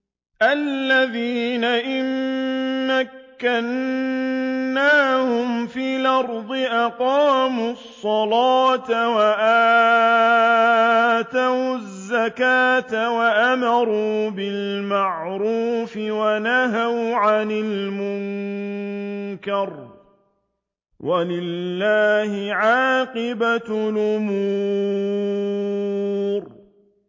الَّذِينَ إِن مَّكَّنَّاهُمْ فِي الْأَرْضِ أَقَامُوا الصَّلَاةَ وَآتَوُا الزَّكَاةَ وَأَمَرُوا بِالْمَعْرُوفِ وَنَهَوْا عَنِ الْمُنكَرِ ۗ وَلِلَّهِ عَاقِبَةُ الْأُمُورِ